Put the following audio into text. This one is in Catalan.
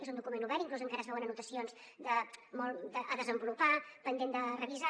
és un document obert inclús encara es veuen anotacions a desenvolupar pendents de revisar